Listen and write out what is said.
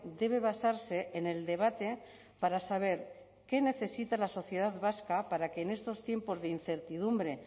debe basarse en el debate para saber qué necesita la sociedad vasca para que en estos tiempos de incertidumbre